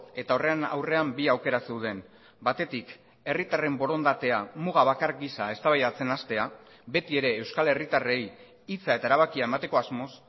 eta horren aurrean bi aukera zeuden batetik herritarren borondatea muga bakar gisa eztabaidatzen hastea beti ere euskal herritarrei hitza eta erabakia emateko asmoz